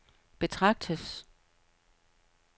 betragtes